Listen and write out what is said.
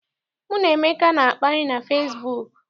Mụ na Emeka na-akparị na fesibuuku.